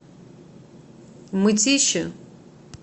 мытищи